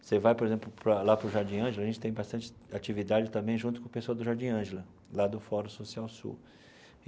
Você vai, por exemplo para, lá para o Jardim Ângela, a gente tem bastante atividade também junto com o pessoal do Jardim Ângela, lá do Fórum Social Sul.